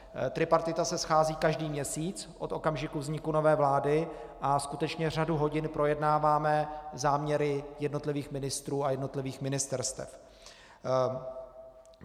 Tripartita se schází každý měsíc od okamžiku vzniku nové vlády a skutečně řadu hodin projednáváme záměry jednotlivých ministrů a jednotlivých ministerstev.